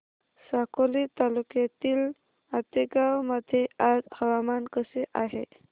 साकोली तालुक्यातील आतेगाव मध्ये आज हवामान कसे आहे